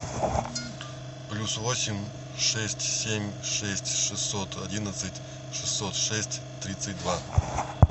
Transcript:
плюс восемь шесть семь шесть шестьсот одиннадцать шестьсот шесть тридцать два